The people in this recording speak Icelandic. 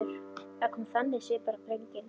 Það kom þannig svipur á drenginn.